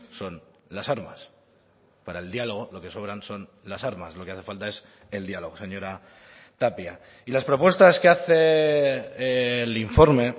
son las armas para el diálogo lo que sobran son las armas lo que hace falta es el diálogo señora tapia y las propuestas que hace el informe